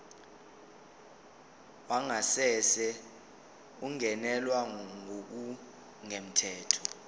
wangasese ungenelwe ngokungemthetho